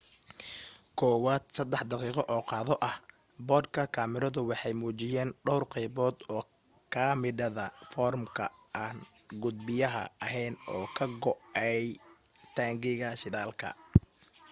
kuwaad 3 daqiqo oo qado ah boodhka kamaradu waxay muujiyeen dhawr qaybood oo kamida foormka aan gudbiyaha ahayn oo ka go'ay taangiga shidaalka